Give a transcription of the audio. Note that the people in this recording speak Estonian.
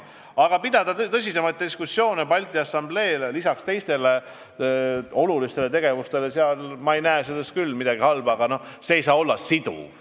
Pidada sellel teemal tõsiseid diskussioone lisaks Balti Assamblee teistele olulistele tegevustele – selles ei näe ma küll midagi halba, aga see ei saa olla siduv.